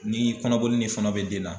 Ni kɔnɔboli ni fɔnɔ bɛ den na